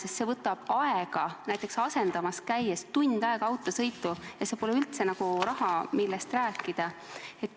Sest see kõik võtab aega, näiteks asendamas käies, nii et tund aega kulub autosõidule, ei ole see üldse mingi raha, millest rääkida.